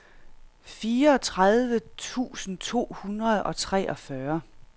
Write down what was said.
fireogtredive tusind to hundrede og treogfyrre